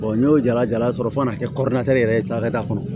n y'o jala jala sɔrɔ fo kan'a kɛ yɛrɛ ye da kɔnɔ